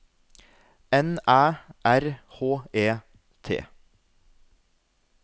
N Æ R H E T